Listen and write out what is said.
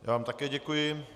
Já vám také děkuji.